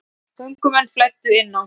Göngumenn flæddu inn á